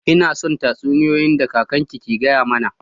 Ina son tatsuniyoyi da kakan ke gaya mana.